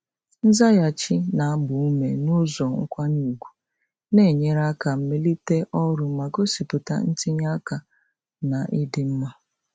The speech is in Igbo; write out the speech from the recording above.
Nzaghachi na-agba ume n'ụzọ nkwanye ùgwù na-enyere aka melite ọrụ ma gosipụta ntinye aka na ịdị mma.